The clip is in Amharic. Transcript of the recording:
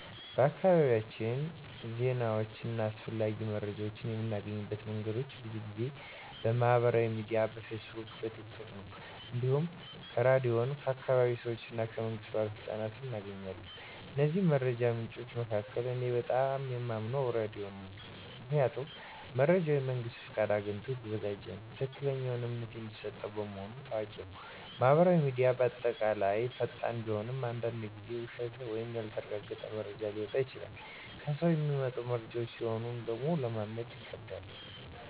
በአካባቢያችን ዜናዎችን እና አስፈላጊ መረጃዎችን የምናገኝባቸው መንገዶች ብዙ ጊዜ በማህበራዊ ሚዲያ (በፌስቡክ፣ ቲክ ቶክ) ነው። እንዲሁም ከራድዮን፣ ከአካባቢ ሰዎች እና ከመንግስት ባለሥልጣኖች እናገኛለን። ከእነዚህ መረጃ ምንጮች መካከል እኔ በጣም የማምነው ራዲዮ ነው። ምክንያቱም መረጃው የመንግስት ፍቃድ አግኝቶ የተዘጋጀ ነውና፣ ትክክለኛና እምነት የሚሰጠው በመሆኑ ታዋቂ ነው። ማህበራዊ ሚዲያ በአጠቃላይ ፈጣን ቢሆንም አንዳንድ ጊዜ ውሸት ወይም ያልተረጋገጠ መረጃ ሊወጣ ይችላል። ከሰው የሚመጡ መረጃዎችም ቢሆን ለማመን ይከብዳል።